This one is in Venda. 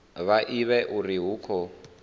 vha ivhe uri hu khou